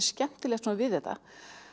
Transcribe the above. skemmtilegt við þetta